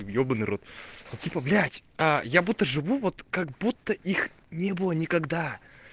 ебаный в рот но типо блять а я будто живу как будто их не было никогда